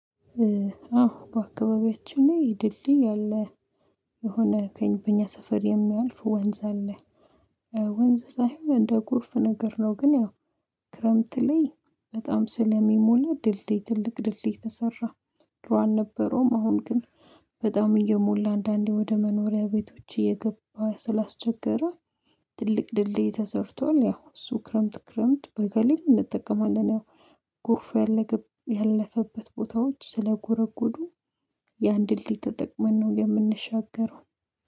አዎ በአካባቢያችን የድልድይ አለ። የሆነ ከ በእኛ ሰፈር የሚያልፍ ወንዝ አለ። ወንዝ ሳይሆን እንደ ቁርፍ ነገር ነው ግን ያው ክረምት ላይ በጣም ስለሚሞላ ድልድይ ትልቅ ድልድይ ተሰራ። ድሮ አልነበረውም አሁን ግን በጣም እየሞላ አንዳንዴ ወደ መኖሪያ ቤቶች እየገባ ስላስቸገረ። ትልቅ ድልድይ ተሰርቷል ያው እሱ ክረምት ክረምት በጋ ላይም እንጠቀማለን። ያው ጎርፍ ያለፈበት ቦታዎች ስለጎረጎዱ። ያን ድልድይ ተጠቅመን ነው የምንሻገረው